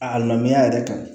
A lamɛn yɛrɛ kan